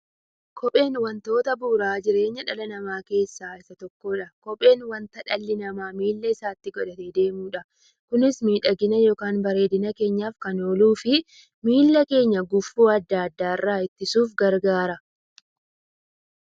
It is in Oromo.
Kopheen wantoota bu'uura jireenya dhala namaa keessaa isa tokkodha. Kopheen wanta dhalli namaa miilla isaatti godhatee deemudha. Kunis miidhagani yookiin bareedina keenyaf kan ooluufi miilla keenya gufuu adda addaa irraa ittisuuf gargaara.